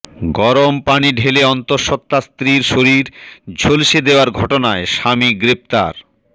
গরম পানি ঢেলে অন্তঃসত্ত্বা স্ত্রীর শরীর ঝলসে দেওয়ার ঘটনায় স্বামী গ্রেফতার